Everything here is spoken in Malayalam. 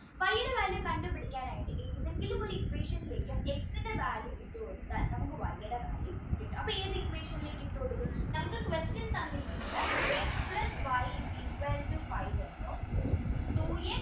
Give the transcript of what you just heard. കണ്ടുപിടിക്കാൻ ആയിട്ട് ഏതെങ്കിലും ഒരു equation ലേക്ക് x value ഇട്ടുകൊടുത്താൽ നമുക്ക് y value കിട്ടും അപ്പോ ഏത് equation ലേക്ക് ഇട്ടു കൊടുക്കും നമുക്ക് question തന്നിരിക്കുന്നത് x plus y is equal to five എന്നും